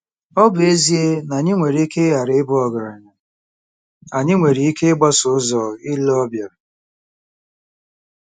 Ọ bụ ezie na anyị nwere ike ghara ịbụ ọgaranya, anyị nwere ike 'ịgbaso ụzọ ile ọbịa.